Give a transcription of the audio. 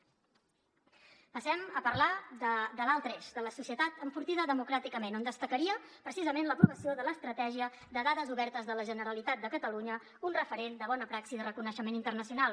passem a parlar de l’altre eix de la societat enfortida democràticament on destacaria precisament l’aprovació de l’estratègia de dades obertes de la generalitat de catalunya un referent de bona praxi de reconeixement internacional